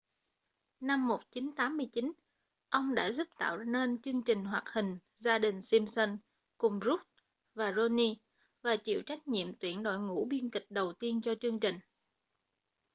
năm 1989 ông đã giúp tạo nên chương trình hoạt hình gia đình simpson cùng brooks và groening và chịu trách nhiệm tuyển đội ngũ biên kịch đầu tiên cho chương trình